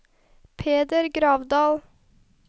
Peder Gravdal